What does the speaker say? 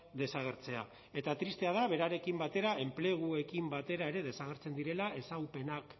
desagertzea eta tristea da berarekin batera enpleguekin batera ere desagertzen direla ezagupenak